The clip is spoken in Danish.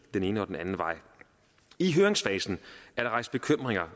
den ene og den anden vej i høringsfasen er der rejst bekymringer